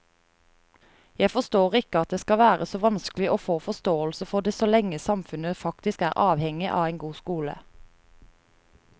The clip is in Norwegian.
Jeg forstår ikke at det skal være så vanskelig å få forståelse for det så lenge samfunnet faktisk er avhengig av en god skole.